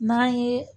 N'an ye